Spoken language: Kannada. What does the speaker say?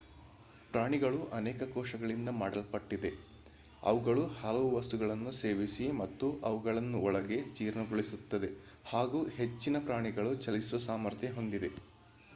ಪ್ರಾಣಿಗಳು ಅನೇಕ ಕೋಶಗಳಿಂದ ಮಾಡಲ್ಪಟ್ಟಿದೆ ಅವುಗಳು ಹಲವು ವಸ್ತುಗಳನ್ನು ಸೇವಿಸಿ ಮತ್ತು ಅವುಗಳನ್ನು ಒಳಗೆ ಜೀರ್ಣಿಸಿಕೊಳ್ಳುತ್ತದೆ ಹಾಗು ಹೆಚ್ಚಿನ ಪ್ರಾಣಿಗಳು ಚಲಿಸುವ ಸಾಮರ್ಥ್ಯ ಹೊಂದಿದೆ